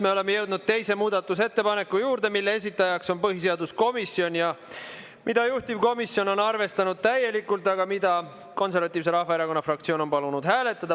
Me oleme jõudnud teise muudatusettepaneku juurde, mille esitajaks on põhiseaduskomisjon ja mida juhtivkomisjon on arvestanud täielikult, aga mida Konservatiivse Rahvaerakonna fraktsioon on palunud hääletada.